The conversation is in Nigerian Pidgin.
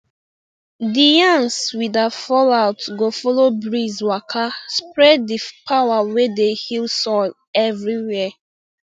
the yans we da fall out go follow breeze waka spread the power wey dey heal soil everywhere